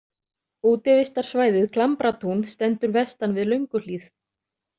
Útivistarsvæðið Klambratún stendur vestan við Lönguhlíð.